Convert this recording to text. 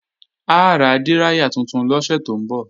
A ra díráyà tuntun lọ́sẹ̀ tó ń bọ̀